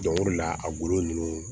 Dɔnko de la a golo ninnu